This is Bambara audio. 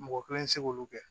Mɔgɔ kelen tɛ se k'olu kɛ